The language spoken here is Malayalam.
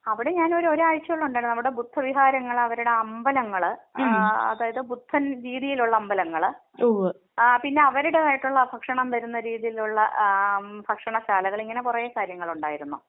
അവിടെ ഞാൻ ഒരു ഒരാഴ്ചയോളം ഉണ്ടായിരുന്നു. നമ്മുടെ ബുദ്ധവിഹാരങ്ങള്‍ അവരുടെ അമ്പലങ്ങൾ ആഹ് അതായത് ബുദ്ധൻ രീതിയിലുള്ള അമ്പലങ്ങൾ. പിന്നെ അവരുടേതായിട്ടുള്ള ഭക്ഷണം തരുന്ന രീതിയിലുള്ള ആ ഭക്ഷണശാലകൾ ഇങ്ങനെ കുറെ കാര്യങ്ങളുണ്ടായിരുന്നു.